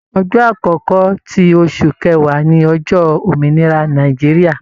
Ọjọ́ akọkọ ti oṣù kẹwa ni ọjọ Òmìnira Nàìjíríà.